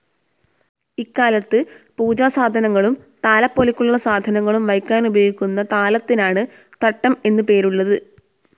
ഇക്കാലത്ത് പൂജാസാധനങ്ങളും താലപ്പൊലിക്കുള്ള സാധനങ്ങളും വയ്ക്കാനുപയോഗിക്കുന്ന താലത്തിനാണ് തട്ടം എന്നു പേരുള്ളത്.